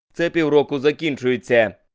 цепь европу закинчуеться